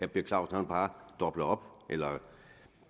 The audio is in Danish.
per clausen bare dobler op eller